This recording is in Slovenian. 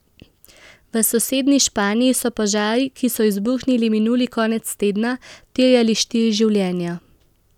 V sosednji Španiji so požari, ki so izbruhnili minuli konec tedna, terjali štiri življenja.